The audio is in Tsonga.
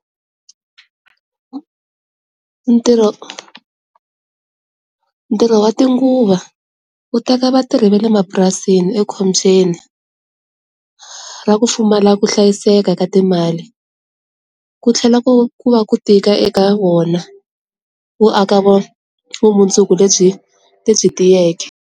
Ntirho ntirho wa tinguva u teka vatirhi vale mapurasini ekhombyeni ra ku pfumala ku hlayiseka ka timali ku tlhela ku ku va ku tika eka wona wu aka vumundzuku lebyi lebyi tiyeke.